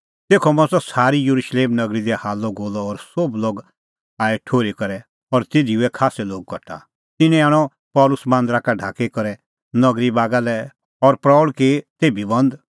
तेखअ मच़अ सारी येरुशलेम नगरी दी हाल्लअगोल्लअ और सोभ लोग आऐ ठुर्ही करै और तिधी हुऐ खास्सै लोग कठा तिन्नैं आणअ पल़सी मांदरा का ढाकी करै नगरी बागा लै और प्रऊल़ की तेभी बंद